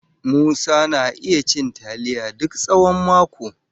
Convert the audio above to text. Musa na iya cin taliya duk tsawon mako.